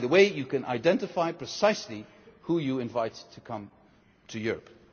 And, by the way, you can identify precisely who you invite to come to